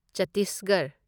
ꯆꯠꯇꯤꯁꯒꯔꯍ